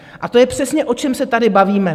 A to je přesně, o čem se tady bavíme.